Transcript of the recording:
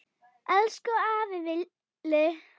Elsku afi Villi.